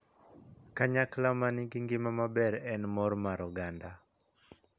Kanyakla ma nigi ngima maber en mor mar oganda.